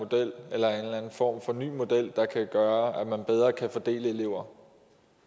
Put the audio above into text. form for ny model der kan gøre at man bedre kan fordele elever